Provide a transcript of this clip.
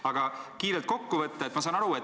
Aga võtan nüüd kiirelt kokku.